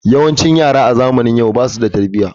Yawancin yara a zamanin yau basu da tarbiyya.